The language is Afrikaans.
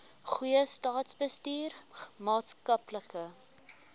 goeie staatsbestuur maatskaplike